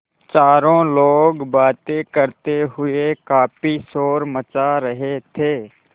चारों लोग बातें करते हुए काफ़ी शोर मचा रहे थे